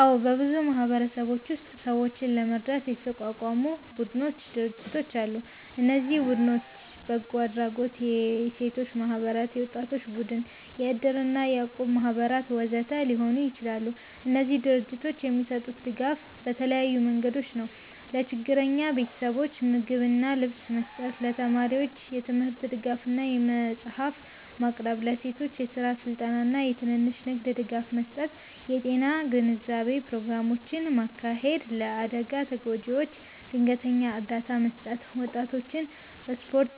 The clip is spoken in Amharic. አዎ፣ በብዙ ማህበረሰቦች ውስጥ ሰዎችን ለመርዳት የተቋቋሙ ቡድኖችና ድርጅቶች አሉ። እነዚህ ቡድኖች በጎ አድራጎት፣ የሴቶች ማህበራት፣ የወጣቶች ቡድኖች፣ የእድር እና የእቁብ ማህበራት ወዘተ ሊሆኑ ይችላሉ። እነዚህ ድርጅቶች የሚሰጡት ድጋፍ በተለያዩ መንገዶች ነው፦ ለችግረኛ ቤተሰቦች ምግብና ልብስ መስጠት ለተማሪዎች የትምህርት ድጋፍ እና መጽሐፍት ማቅረብ ለሴቶች የስራ ስልጠና እና የትንሽ ንግድ ድጋፍ መስጠት የጤና ግንዛቤ ፕሮግራሞችን ማካሄድ ለአደጋ ተጎጂዎች ድንገተኛ እርዳታ መስጠት ወጣቶችን በስፖርት